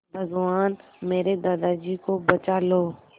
भगवान मेरे दादाजी को बचा लो